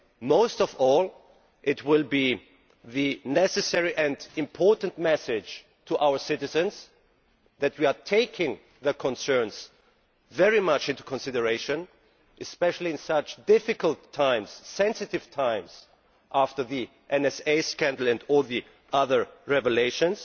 Most of all it will be a necessary and important message to our citizens that we are taking their concerns very much into consideration, especially in such difficult times sensitive times after the NSA scandal and all the other revelations.